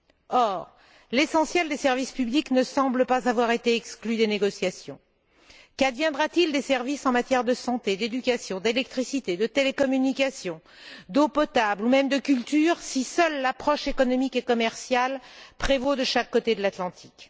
Or, la plupart des services publics ne semblent pas avoir été exclus des négociations. Qu'adviendra t il des services en matière de santé, d'éducation, d'électricité, de télécommunications, d'eau potable et même de culture, si seule l'approche économique et commerciale prévaut de chaque côté de l'Atlantique.